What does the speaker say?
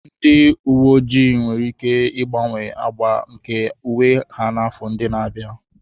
Ndị uwe ojii nwere ike ịgbanwe agba nke uwe ha n'afọ ndị na-abịa.